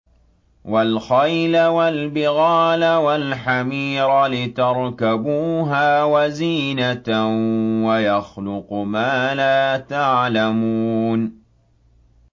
وَالْخَيْلَ وَالْبِغَالَ وَالْحَمِيرَ لِتَرْكَبُوهَا وَزِينَةً ۚ وَيَخْلُقُ مَا لَا تَعْلَمُونَ